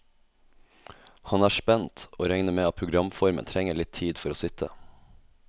Han er spent, og regner med at programformen trenger litt tid for å sitte.